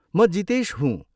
म जितेश हुँ।